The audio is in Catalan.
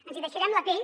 ens hi deixarem la pell